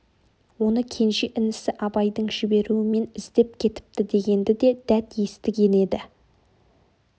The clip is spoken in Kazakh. оны кенже інісі абайдың жіберуімен іздеп кепті дегенді де дәт естіген еді